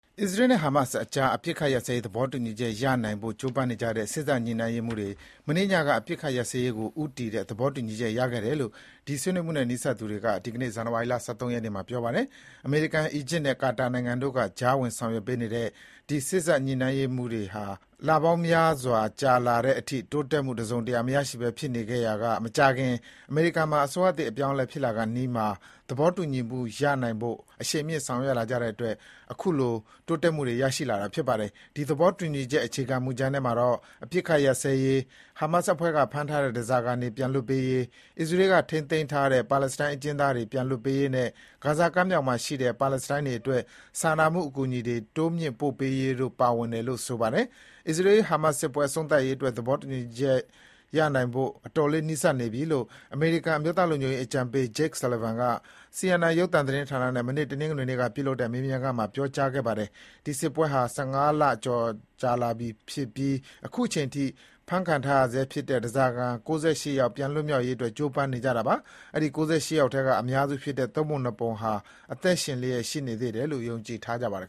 အစ္စရေးနဲ့ ဟာမတ်စ်ကြား အပစ်အခတ်ရပ်စဲရေးသဘောတူညီချက်ရနိုင်ဖို့ ကြိုးပမ်းနေကြတဲ့ စေ့စပ် ညှိနှိုင်းရေးမှူးတွေ မနေ့ညက အပစ်အခတ်ရပ်စဲရေးကိုဦးတည်တဲ့ သဘောတူညီချက်ရခဲ့ကြတယ်လို့ ဒီ ဆွေးနွေးမှုနဲ့ နီးစပ်တဲ့သူတွေက ဒီကနေ့ ဇန်နဝါရီ ၁၃ ရက်နေ့မှာ ပြောပါတယ်။ အမေရိကန်၊ အီဂျစ်နဲ့ ကာတာနိုင်ငံတို့က ကြားဝင်ဆောင်ရွက်ပေးနေတဲ့ ဒီ စေ့စပ်ညှိနှိုင်းမှုတွေဟာ လပေါင်းများစွာ ကြာလာတဲ့အထိ တိုးတက်မှု တစုံတရာမရရှိဘဲဖြစ်နေခဲ့ရာက မကြာခင် အမေရိကန် မှာ အစိုးရသစ်အပြောင်းအလဲဖြစ်လာခါနီးမှာ သဘောတူညီမှုရနိုင်ဖို့ အရှိန်မြှင့်ဆောင်ရွက်လာကြတဲ့ အတွက် အခုလို တိုးတက်မှုရရှိလာတာ ဖြစ်ပါတယ်။ ဒီသဘောတူညီချက် အခြေခံမူကြမ်းထဲမှာ အပစ်အခတ်ရပ်စဲရေး၊ ဟာမတ်စ်အဖွဲ့က ဖမ်းဆီးထားတဲ့ ဓားစာခံတွေ ပြန်လွှတ်ပေးရေး၊ အစ္စရေးက ထိန်းသိမ်းထားတဲ့ ပါလက်စတိုင်း အကျဉ်းသားတွေ ပြန်လွှတ်ပေးရေးနဲ့ ဂါဇာကမ်းမြောင်မှာရှိတဲ့ ပါလက်စတိုင်းတွေအတွက် စာနာမှုအကူအညီတွေ တိုးမြင့် ပို့ရေးတို့ ပါဝင်တယ်လို့ ဆိုပါတယ်။ အစ္စရေး-ဟာမတ်စ်စစ်ပွဲ အဆုံးသတ်ရေးအတွက် သဘောတူညီချက်နိုင်ဖို့ အတော်လေး နီးစပ်နေပြီလို့ အမေရိကန် အမျိုးသားလုံခြုံရေးအကြံပေး Jake Sullivan က CNN ရုပ်သံ သတင်းဌာနနဲ့ မနေ့ တနင်္ဂနွေနေ့က ပြုလုပ်တဲ့မေးမြန်းခန်းမှာ ပြောကြားခဲ့ပါတယ်။ ၁၅ လကျော် ကြာလာပြီဖြစ်ပြီး အခုချိန်ထိ ဖမ်းခံထားရဆဲဖြစ်တဲ့ ဓားစာခံ ၉၈ ယောက် ပြန်လွတ်မြောက်ရေး ကြိုးပမ်းနေကြတာပါ။ အဲဒီ ၉၈ ယောက်ထဲက အများစုဖြစ်တဲ့ ၃ ပုံ ၂ ပုံက အသက်ရှင်လျှက်ရှိနေသေးတယ်လို့ ယုံကြည်ထားကြပါတယ်